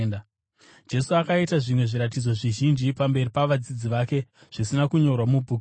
Jesu akaita zvimwe zviratidzo zvizhinji pamberi pavadzidzi vake, zvisina kunyorwa mubhuku iri.